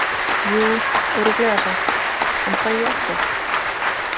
Jú örugglega samt, en fæ ég ekkert?